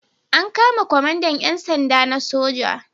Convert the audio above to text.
An kama kwamandan 'yan sanda na soja.